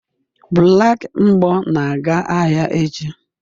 Black mgbo na-aga ahịa echi